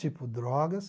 Tipo drogas,